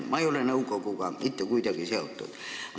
Ma ise ei ole selle nõukoguga mitte kuidagi seotud.